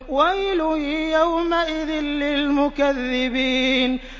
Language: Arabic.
وَيْلٌ يَوْمَئِذٍ لِّلْمُكَذِّبِينَ